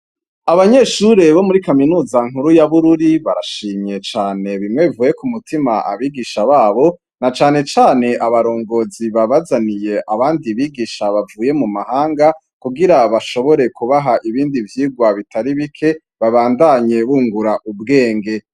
Abanyeshure bo muri kaminuza nkuru ya Bururi, bashimye cane bimwe bivuye ku mutima, abigisha babo na cane cane abarongozi babazaniye abandi bigisha bavuye mumahanga, kugira bashobore kubaha ibindi vyigwa bitar'ibike babandanye bungur'ubwenge.